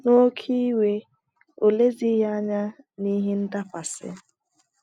N’oké iwe, o lezighị anya na ihe ndakwasi.